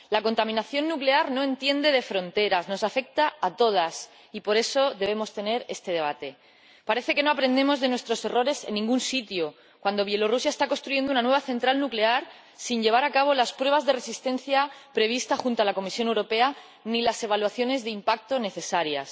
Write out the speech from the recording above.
La contaminación nuclear no entiende de fronteras, afecta a todas y, por eso, debemos tener este debate. Parece que no aprendemos de nuestros errores en ningún sitio, cuando Bielorrusia está construyendo una nueva central nuclear sin llevar a cabo las pruebas de resistencia previstas junto a la Comisión Europea ni las evaluaciones de impacto necesarias.